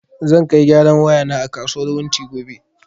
Zai kai gyaran waya na a kasuwar wunti gobe